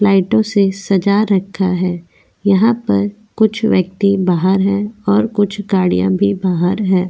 लाइटों से सजा रखा है यहां पर कुछ व्यक्ति बाहर हैं और कुछ गाड़ियां भी बाहर हैं।